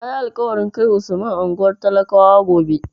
Na yi alƙawarin kai Usman unguwar talakawa gobe.